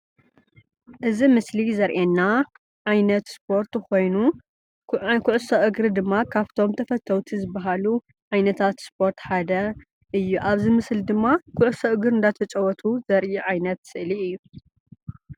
እዚ ምስሊ ዘርእየና ዓይነት ስፖርት ኮይኑ ናይ ኩዕሶ እግሪ ድማ ካብቶም ተፈተውቲ ዝባሃሉ ዓይነታት ስፖርት ሓደ እዩ። ኣብዚ ምስሊ ድማ ኩዕሶ እግሪ እንዳተጫወቱ ዘርኢ ዓይነት ስእሊ እዩ።